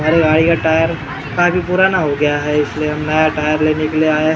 हमारी गाड़ी का टायर काफी पुराना हो गया है इसलिए हमने यह टायर लेने के लिए आये हैं ।